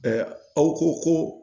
aw ko ko